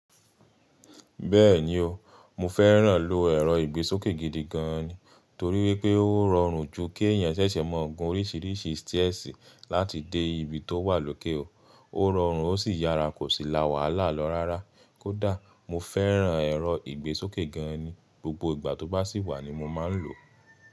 Bẹ́ẹ̀ni o, mo fẹ́ràn ló ẹ̀rọ ìgbésókè gidi gan ni, torí wípé ó rọrùn ju kí èèyàn ṣẹ̀ṣẹ̀ mọ ọ̀gún oríṣìíríṣìí stẹ́ẹ̀sì láti dé ibi tó wà lóké o. Ó rọrùn ó sì yára, kò sì la wàhálà lọ rárá. Kódà mo fẹ́ràn ẹ̀rọ ìgbésókè gan ni, gbogbo ìgbà tó bá sì wà ni mo máa ń lò ó.